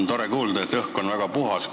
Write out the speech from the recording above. Tore kuulda, et õhk on väga puhas.